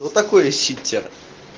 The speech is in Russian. что такое читер